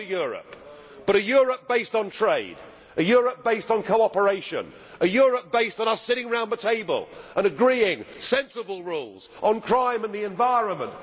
I want a Europe, but a Europe based on trade, a Europe based on cooperation, a Europe based on us sitting round the table and agreeing sensible rules on crime and the environment.